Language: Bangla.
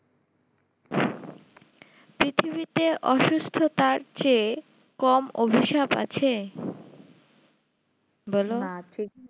পৃথিবীতে অসুস্থতার চেয়ে কম অভিশাপ আছে বলো